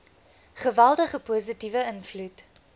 geweldige positiewe invloed